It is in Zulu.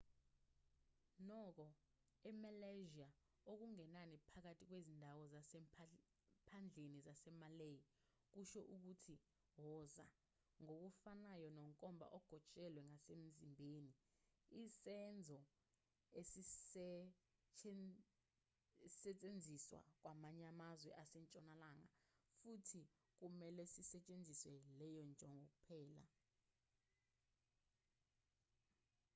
nokho emalaysia okungenani phakathi kwezindawo zasemaphandleni zasemalay kusho ukuthi woza ngokufanayo nonkomba ogotshelwe ngasemzimbeni isenzo esisetshenziswa kwamanye amazwe asentshonalanga futhi kumelwe sisetshenziselwe leyo njongo kuphela